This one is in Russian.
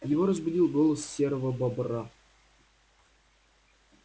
его разбудил голос серого бобра